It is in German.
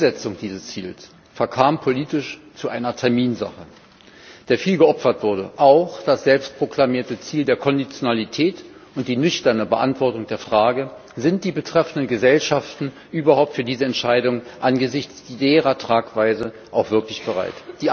Die Umsetzung dieses Ziels verkam politisch zu einer Terminsache, der viel geopfert wurde, auch das selbst proklamierte Ziel der Konditionalität und die nüchterne Beantwortung der Frage Sind die betreffenden Gesellschaften überhaupt für diese Entscheidung angesichts deren Tragweite auch wirklich bereit?